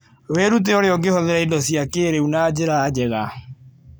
Wĩrute ũrĩa ũngĩhũthĩra indo cia kĩĩrĩu na njĩra njega.